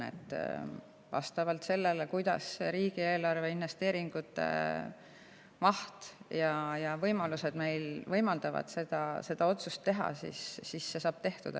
Vastavalt sellele, kuidas riigieelarve investeeringute maht ja investeerimisvõimalused võimaldavad meil seda otsust teha, saab see tehtud.